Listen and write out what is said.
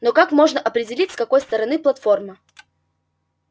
но как можно определить с какой стороны платформа